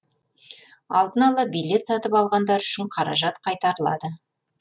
алдын ала билет сатып алғандар үшін қаражат қайтарылады